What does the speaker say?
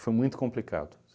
muito complicado.